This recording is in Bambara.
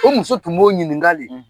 O muso tun b'o ɲininga de .